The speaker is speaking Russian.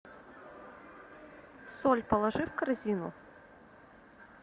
соль положи в корзину